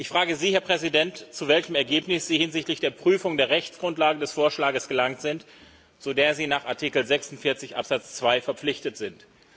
Ich frage Sie, Herr Präsident, zu welchem Ergebnis Sie hinsichtlich der Prüfung der Rechtsgrundlage des Vorschlages gelangt sind, zu der Sie nach Artikel 46 Absatz 2 verpflichtet sind?